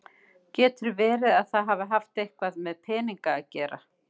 Getur verið að það hafi haft eitthvað með peninga að gera?